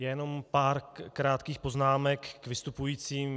Jenom pár krátkých poznámek k vystupujícím.